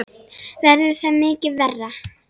Verður það mikið verra?